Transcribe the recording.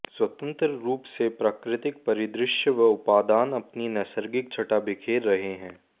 स्वतंत्र रूप से प्राकृतिक परिदृश्य व उपादान अपनी नैसर्गिक छटा बिखेर रहे हैं